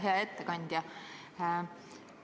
Hea ettekandja!